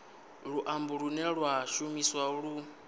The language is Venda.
luambo lune lwa shumiswa u